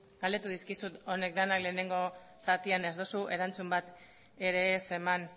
galdetu dizkizut honek denak lehenengo zatian ez duzu erantzun bat ere ez eman